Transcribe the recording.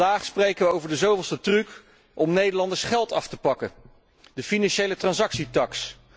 En vandaag spreken we over de zoveelste truc om Nederlanders geld af te pakken de financiëletransactietaks.